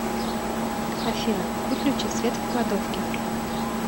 афина выключи свет в кладовке